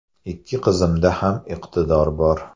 Ikki qizimda ham iqtidor bor.